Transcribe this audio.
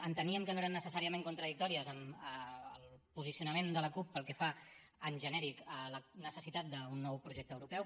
enteníem que no eren necessàriament contradictòries amb el posicionament de la cup pel que fa en genèric a la necessitat d’un nou projecte europeu